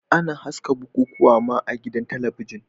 Ana haska bukukuwa ma a gidan talabijin.